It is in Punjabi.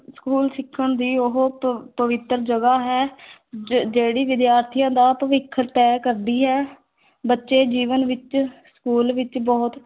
School ਸਿੱਖਣ ਦੀ ਉਹ ਪ ਪਵਿੱਤਰ ਜਗ੍ਹਾ ਹੈ ਜ ਜਿਹੜੀ ਵਿਦਿਆਰਥੀਆਂ ਦਾ ਭਵਿੱਖ ਤੈਅ ਕਰਦੀ ਹੈ ਬੱਚੇ ਜੀਵਨ ਵਿੱਚ school ਵਿੱਚ ਬਹੁਤ